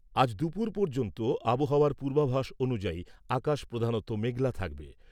আজ দুপুর পর্যন্ত আবহাওয়ার পূর্বাভাস অনুযায়ী আকাশ প্রধানত মেঘলা থাকবে।